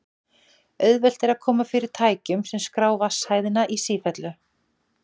auðvelt er að koma fyrir tækjum sem skrá vatnshæðina í sífellu